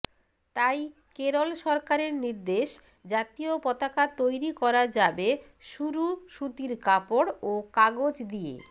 তাই কেরল সরকারের নির্দেশ জাতীয় পতাকা তৈরি করা যাবে শুরু সুতির কাপড় ও কাগজ দিয়ে